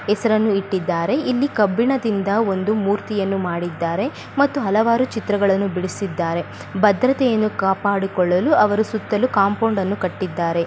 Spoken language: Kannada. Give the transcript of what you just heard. ಹೆಸರನ್ನು ಇಟ್ಟಿದ್ದಾರೆ ಇಲ್ಲಿ ಕಬ್ಬಿಣದಿಂದ ಒಂದು ಮೂರ್ತಿಯನ್ನು ಮಾಡಿದ್ದಾರೆ ಮತ್ತು ಹಲವಾರು ಚಿತ್ರಗಳನ್ನು ಬಿಡಿಸಿದ್ದಾರೆ ಭದ್ರತೆಯನ್ನು ಕಾಪಾಡಿಕೊಳ್ಳಲು ಅವರು ಸುತ್ತಲೂ ಕಾಂಪೌಂಡ್ ಅನ್ನು ಕಟ್ಟಿದ್ದಾರೆ.